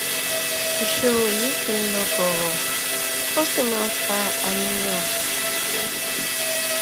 ìṣòro yìí kì í lọ bọrọ ó sì máa ń fa àníyàn